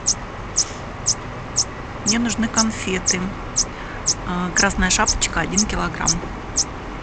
мне нужны конфеты красная шапочка один килограмм